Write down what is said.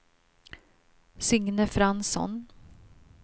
Signe Fransson